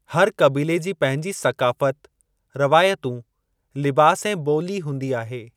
हर क़बीले जी पंहिंजी सक़ाफ़त, रवायतूं, लिबास ऐं ॿोली हूंदी आहे।